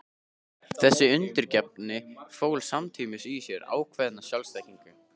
Þessi undirgefni fól samtímis í sér ákveðna sjálfsþekkingu.